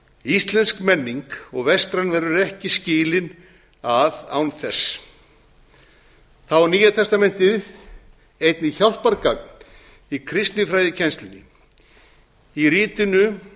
íslensk menning og vestræn verður ekki skilin að án þess þá er nýja testamentið einnig hjálpargagn í kristinfræðikennslunni í ritinu